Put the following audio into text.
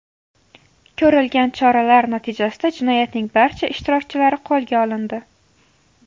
Ko‘rilgan choralar natijasida jinoyatning barcha ishtirokchilari qo‘lga olindi.